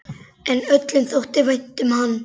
En öllum þótti vænt um hann.